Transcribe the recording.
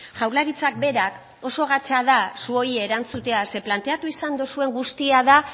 jaurlaritza berak oso gatza da zuei erantzutea zeren planteatu izan duzuen guztia da